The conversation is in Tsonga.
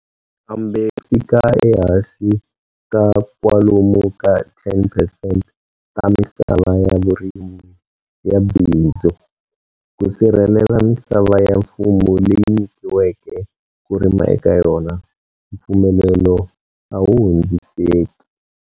Kambe swi fika ehansi ka kwalomu ka 10 percent ta misava ya vurimi ya bindzu. Ku sirhelela misava ya mfumo leyi nyikiweke ku rima eka yona, mpfumelelo a wu hundziseki.